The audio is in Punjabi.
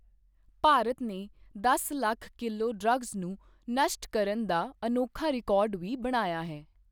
ਭਾਰਤ ਨੇ ਦਸ ਲੱਖ ਕਿਲੋ ਡ੍ਰੱਗਸ ਨੂੰ ਨਸ਼ਟ ਕਰਨ ਦਾ ਅਨੋਖਾ ਰਿਕਾਰਡ ਵੀ ਬਣਾਇਆ ਹੈ।